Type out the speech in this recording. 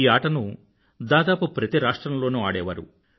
ఈ ఆటను దాదాపు ప్రతి రాష్ట్రం లోనూ ఆడేవారు